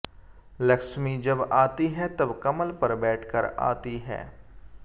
लक्ष्मी जब आती हैं तब कमल पर बैठकर आती हैं